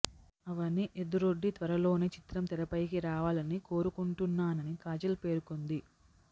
అవన్నీ ఎదురొడ్డి త్వరలోనే చిత్రం తెరపైకి రావాలని కోరుకుంటున్నానని కాజల్ పేర్కొంది